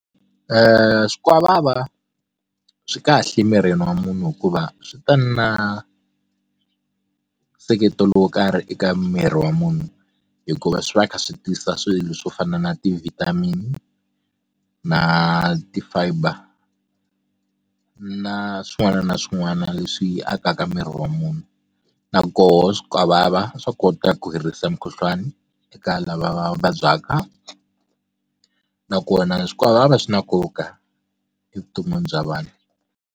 Swikwavava swi kahle emirini wa munhu hikuva swi ta na nseketelo wo karhi eka miri wa munhu hikuva swi va kha swi tisa swilo swo fana na ti-vitamin na ti-fiber na swin'wana na swin'wana leswi akaka miri wa munhu na koho swikwavava swa kota ku herisa mukhuhlwani eka lava va vabyaka nakona swikwavava swi na nkoka evuton'wini bya vanhu.